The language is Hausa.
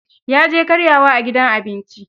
Ya je karyawa a gidan abinci.